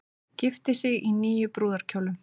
Gifti sig í níu brúðarkjólum